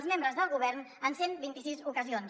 els membres del govern en cent i vint sis ocasions